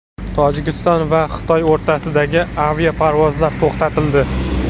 Tojikiston va Xitoy o‘rtasidagi aviaparvozlar to‘xtatildi.